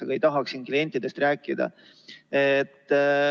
Aga ma ei tahaks siin klientidest rääkida.